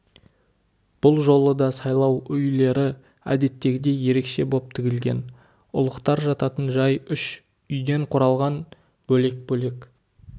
бұл жолы да сайлау үйлері әдеттегідей ерекше боп тігілген ұлықтар жататын жай үш үйден құралған бөлек-бөлек